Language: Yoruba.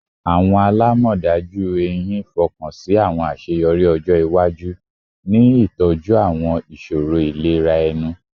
Awọn alamọdaju ehín fokansi awọn aṣeyọri ọjọ iwaju.in itọju awọn iṣoro ilera ẹnu